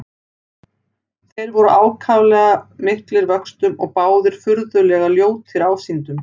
Þeir voru báðir ákaflega miklir vöxtum og báðir furðulega ljótir ásýndum.